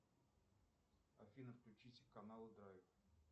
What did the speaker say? афина включите канал драйв